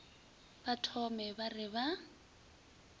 ba thome ba re ba